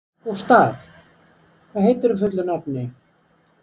Gustav, hvað heitir þú fullu nafni?